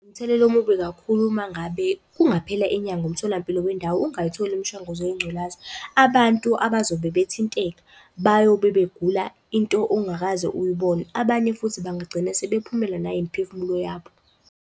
Umthelela omubi kakhulu uma ngabe kungaphela inyanga umtholampilo wendawo ungayitholi imishanguzo yengculaza. Abantu abazobe bethinteka bayobe begula into ongakaze uyibone, abanye futhi bangagcine sebephumelwa nayimiphefumulo yabo.